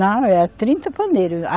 Não, era trinta pandeiros. a